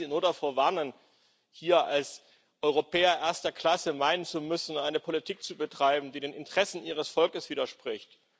Und ich kann Sie nur davor warnen, hier als Europäer erster Klasse zu meinen, eine Politik betreiben zu müssen, die den Interessen Ihres Volkes widerspricht.